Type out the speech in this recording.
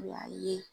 O y'a ye